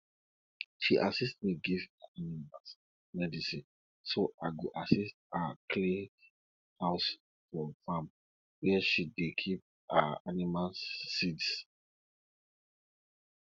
she assist me give my animals medicine so i go assist her clean house for farm where she dey keep her animals seeds